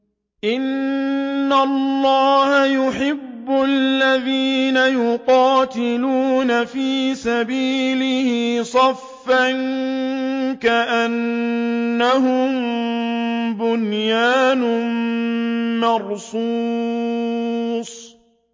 إِنَّ اللَّهَ يُحِبُّ الَّذِينَ يُقَاتِلُونَ فِي سَبِيلِهِ صَفًّا كَأَنَّهُم بُنْيَانٌ مَّرْصُوصٌ